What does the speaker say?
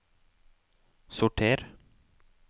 sorter